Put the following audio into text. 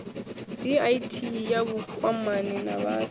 dti ya vhukwamani na vhathu